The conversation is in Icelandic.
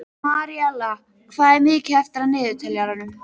Maríella, hvað er mikið eftir af niðurteljaranum?